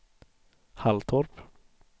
Halltorp